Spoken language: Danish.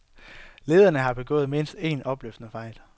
Lederne har begået mindst en opløftende fejl.